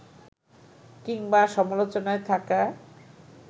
কিংবা সমালোচনায় থাকা